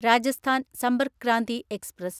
Rajasthan Sampark Kranti express